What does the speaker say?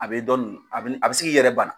A bɛ dɔ nin a bi ni a bɛ se k'i yɛrɛ bana.